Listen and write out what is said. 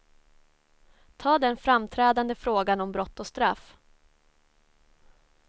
Ta den framträdande frågan om brott och straff.